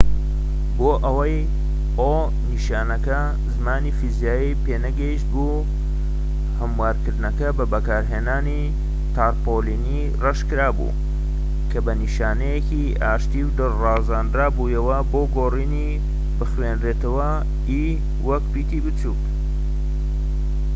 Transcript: نیشانەکە زیانی فیزیایی پێنەگەیشت بوو؛ هەموارکردنەکە بە بەکارهێنانی تارپۆلینی ڕەش کرا بوو کە بە نیشانەکانی ئاشتی و دڵ ڕازاندرا بوویەوە بۆ گۆڕینی o ‎ بۆ ئەوەی وەک پیتی بچوکی e بخوێنرێتەوە